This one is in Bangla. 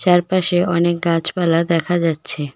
চারপাশে অনেক গাছপালা দেখা যাচ্ছে।